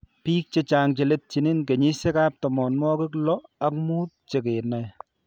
Biko chechang' chelekityini kenyishekab tamanwok lo ak mut che kenae.